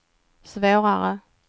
svårare